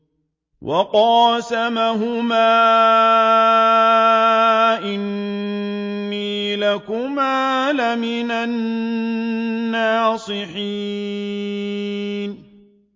وَقَاسَمَهُمَا إِنِّي لَكُمَا لَمِنَ النَّاصِحِينَ